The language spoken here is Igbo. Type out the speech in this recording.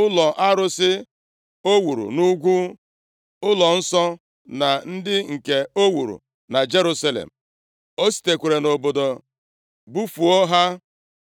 ụlọ arụsị o wuru nʼugwu ụlọnsọ, na ndị nke o wuru na Jerusalem. O sitere nʼobodo bufuo ha.